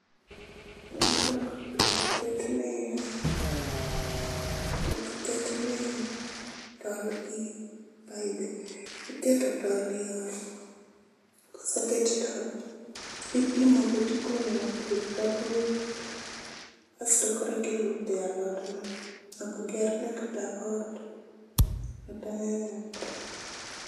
Wan ok ketne ,ok ketne tol gi paibe, iketo tol yore koseket tol tipimo go tikunyo bur ka bur asto korka ilute alot no, ok ger ne kata ot kata